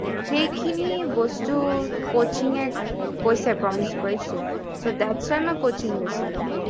সেইখিনি বস্তু coaching এ কৈছে promise কৰিছিল so thats why মই coaching লৈছিলো